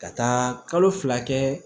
Ka taa kalo fila kɛ